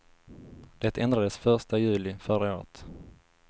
Det ändrades första juli förra året.